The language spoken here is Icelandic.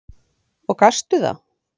Og gastu það?